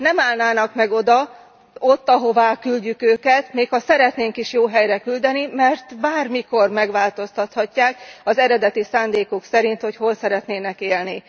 Nem állnának meg ott, ahová küldjük őket, még ha szeretnénk is jó helyre küldeni, mert bármikor megváltoztathatják az eredeti szándékuk szerint, hogy hol szeretnének élni.